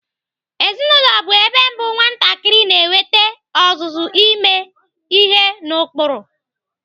Ezinaụlọ bụ ebe mbụ nwatakịrị na-enwete ọzụzụ ime ihe n'ụkpụrụ.